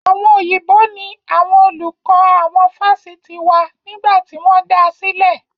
Àwọn Òyìnbó ní àwọn olùkọ́ àwọn Fásitì wa nígbà tí wọ́n dáa sílè.